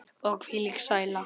Og hvílík sæla.